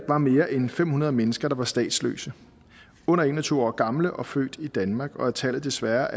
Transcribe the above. var mere end fem hundrede mennesker der var statsløse under en og tyve år gamle og født i danmark og at tallet desværre